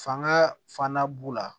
Fanga fana b'u la